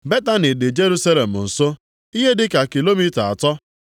Betani dị Jerusalem nso, ihe dị ka kilomita atọ.